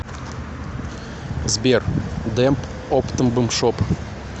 сбер демб оптнбмшоп